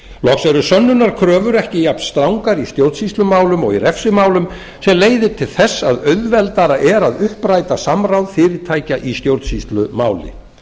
loks eru sönnunarkröfur ekki jafnstrangar í stjórnsýslumálum og í refsimálum sem leiðir til þess að auðveldara er að uppræta samráð fyrirtækja í stjórnsýslumáli